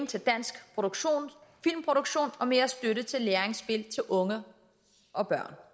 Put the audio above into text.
til dansk filmproduktion og mere støtte til læringsspil til unge og børn